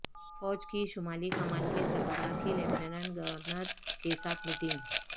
فوج کی شمالی کمان کے سربراہ کی لیفٹنٹ گورنر کیساتھ میٹنگ